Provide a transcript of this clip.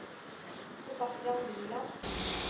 Sebastian Liland